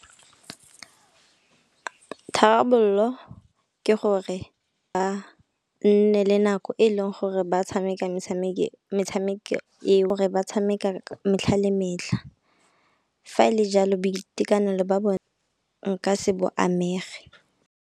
Tharabollo ke gore ba nne le nako e e leng gore ba tshameka metshameki eo ba tshamekang metlha le metlha. Fa le jalo boitekanelo ba bone nka se bo amege.